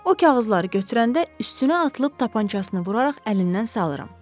O kağızları götürəndə üstünə atılıb tapançasını vuraraq əlindən salaram.